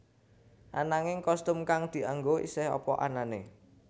Ananging kostum kang dianggo isih apa anané